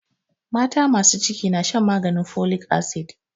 Mata masu ciki na shan maganin folic acid.